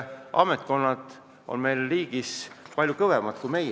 Ametkonnad on meie riigis palju kõvemad kui meie.